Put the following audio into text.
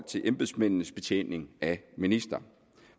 til embedsmændenes betjening af ministeren